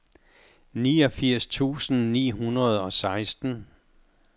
niogfirs tusind ni hundrede og seksten